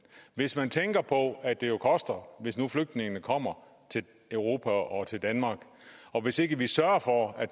hvis man tænker på at det jo koster hvis nu flygtningene kommer til europa og til danmark og hvis ikke vi sørger for at